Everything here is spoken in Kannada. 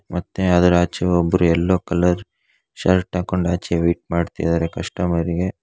ಮತ್ತೆ ಅದರ ಆಚೆ ಒಬ್ಬರು ಯೆಲ್ಲೂ ಕಲರ್ ಶರ್ಟ್ ಹಾಕೊಂಡ್ ಆಚೆ ವೇಟ್ ಮಾಡ್ತಾ ಇದ್ದಾರೆ ಕಸ್ಟಮರ್ ಗೆ.